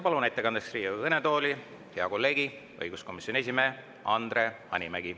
Palun ettekandeks Riigikogu kõnetooli hea kolleegi, õiguskomisjoni esimehe Andre Hanimägi.